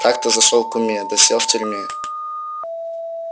как-то зашёл к куме да сел в тюрьме